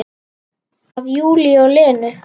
Af Júlíu og Lenu.